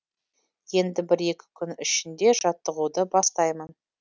енді бір екі күн ішінде жаттығуды бастаймын